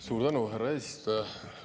Suur tänu, härra eesistuja!